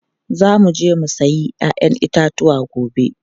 Za mu je mu sayi 'ya'yan itatuwa gobe.